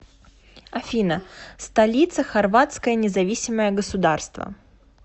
афина столица хорватское независимое государство